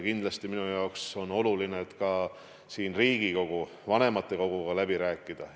Kindlasti on minu jaoks oluline ka Riigikogu vanematekoguga kõik läbi rääkida.